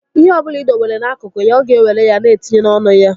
Ihe ọ ọbụla ị dowere n'akụkụ ya, ọ ga-ewere ya na etinye n'ọnụ ya